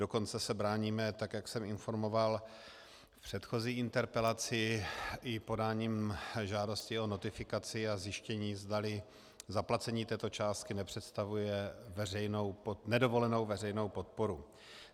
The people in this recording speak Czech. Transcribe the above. Dokonce se bráníme, tak jak jsem informoval v předchozí interpelaci, i podáním žádosti o notifikaci a zjištění, zdali zaplacení této částky nepředstavuje nedovolenou veřejnou podporu.